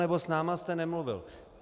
Nebo s námi jste nemluvil.